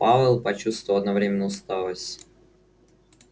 пауэлл почувствовал одновременно усталость